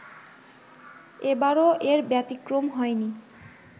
এবারও এর ব্যতিক্রম হয়নি